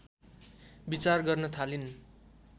विचार गर्न थालिन्